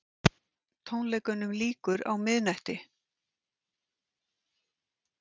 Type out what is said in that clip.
Tónleikunum lýkur á miðnætti